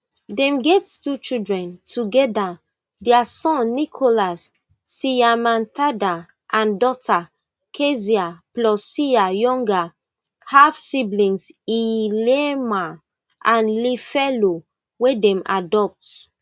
dem get two children togeda dia son nicholas siyamthanda and daughter keziah plus siya younger halfsiblings liyema and liphelo wey dem adopt